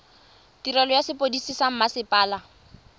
tirelo ya sepodisi sa mmasepala